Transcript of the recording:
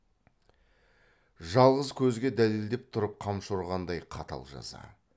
жалғыз көзге дәлелдеп тұрып қамшы ұрғандай қатал жаза